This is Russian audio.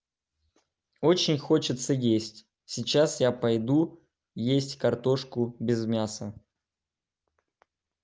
очень хочется есть сейчас я пойду есть картошку без мяса